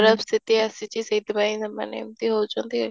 ଖରାପ ସ୍ଥିତି ଆସିଛି ସେଠି ପାଇଁ ସେମାନେ ଏମିତି ହେଉଛନ୍ତି